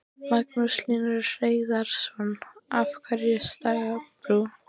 Magnús Hlynur Hreiðarsson: Af hverju stagbrú?